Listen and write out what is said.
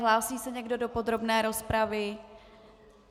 Hlásí se někdo do podrobné rozpravy?